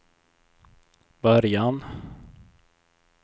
början